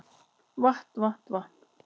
Vatn vatn vatn